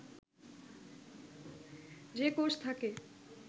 যে কোষ থাকে